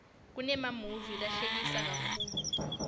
kunemamuvi lahlekisa kakhulu